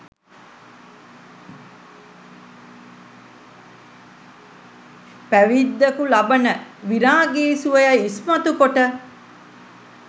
පැවිද්දකු ලබන විරාගි සුවය ඉස්මතු කොට